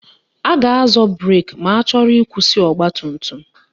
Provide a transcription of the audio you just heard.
A ga-azọ breki ma achọrọ ịkwụsị ọgbatumtum